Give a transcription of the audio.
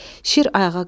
Şir ayağa qalxdı.